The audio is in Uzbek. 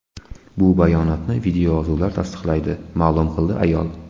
Bu bayonotni videoyozuvlar tasdiqlaydi, ma’lum qildi ayol.